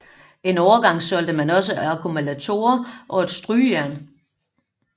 En overgang solgte man også akkumulatorer og strygejern